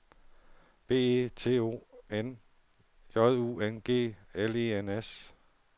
B E T O N J U N G L E N S